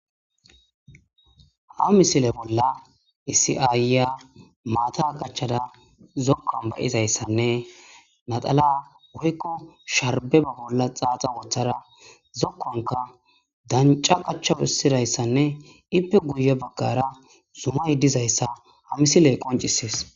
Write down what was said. ha misile bolla isiaaya maata qachada zokkon bayizayssanne maxala woykko sharbeba bolla xaaxa wooththara zokkonka danca qacha phissidayssanne ippe guye baggara zuma yiddizayssa ha misiley qoncisees